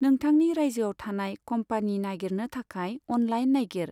नोंथांनि रायजोयाव थानाय कम्पानि नागिरनो थाखाय अनलाइन नायगिर।